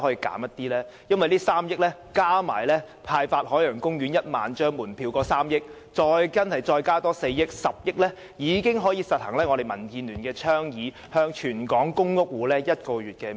因為如果把這3億元加上派發海洋公園門票1萬張所花的3億元，另再加4億元，便合共10億元，足以實行我們民建聯所倡議的全港公屋租戶豁免1個月租金。